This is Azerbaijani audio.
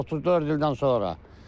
34 ildən sonra.